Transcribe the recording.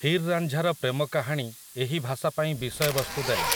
ହିର୍ ରାଞ୍ଝା ର ପ୍ରେମ କାହାଣୀ ଏହି ଭାଷା ପାଇଁ ବିଷୟବସ୍ତୁ ଦେଲା ।